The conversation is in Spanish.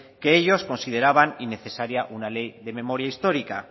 que ellos consideraban innecesaria una ley de memoria histórica